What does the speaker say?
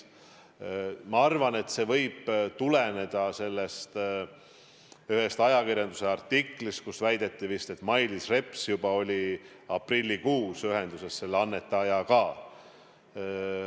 Ma arvan, et see võib tuleneda ühest ajakirjanduse artiklist, kus väideti vist, et Mailis Reps oli juba aprillikuus ühenduses selle annetajaga.